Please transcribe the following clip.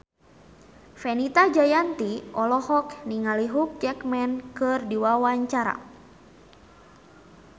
Fenita Jayanti olohok ningali Hugh Jackman keur diwawancara